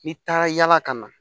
N'i taara yala ka na